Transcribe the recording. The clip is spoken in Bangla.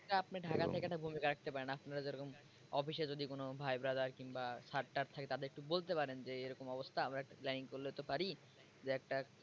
আপনি ঢাকা থেকে একটা ভূমিকা রাখতে পারেন আপনারা যে রকম office এ যদি কোনো ভাই brother কিংবা sir টার থাকে তাদের একটু বলতে পারেন যে এরকম অবস্থা আমরা একটা planning করলেতো পারি যে একটা,